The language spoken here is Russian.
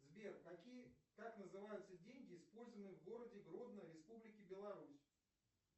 сбер какие как называются деньги использованные в городе гродно республики беларусь